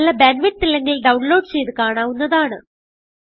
നല്ല bandwidth ഇല്ലെങ്കിൽ download ചെയ്ത് കാണാവുന്നതാണ്